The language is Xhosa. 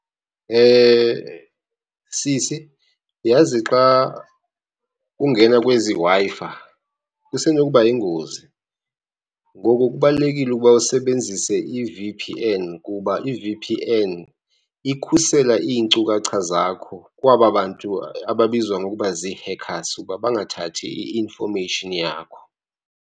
Sisi, yazi xa ungena kwezi Wi-Fi kusenokuba yingozi. Ngoko kubalulekile ukuba usebenzise i-V_P_N kuba i-V_P_N ikhusela iinkcukacha zakho kwaba bantu ababizwa ngokuba zii-hackers ukuba bangathathi i-infomeyishini yakho.